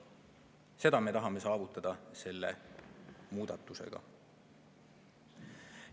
Seda me tahame anda selle muudatusega.